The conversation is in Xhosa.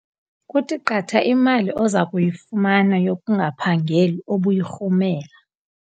Kuthi qatha imali oza kuyifumana yokungaphangeli obuyirhumela.